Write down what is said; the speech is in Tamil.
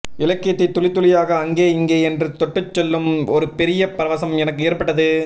இலக்கியத்தை துளித்துளியாக அங்கே இங்கே என்று தொட்டுச்செல்லும் ஒரு பெரிய பரவசம் எனக்கு ஏற்பட்டது